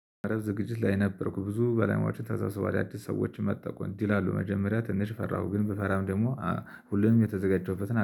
ረዕሰ ዝግጅት ላይ ነበርኩኝ። ብዙ በላማችን ተሳስቧል የአዲስ ሰዎችን መጠቁን እንዲህ ላሉ መጀመሪያ ትንሽ ፈራሁ ግን ብፈራም ደግሞ ሁሉንም የተዘጋጀበት